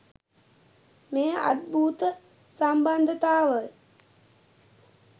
මේ අද්භූත සම්බන්ධතාවය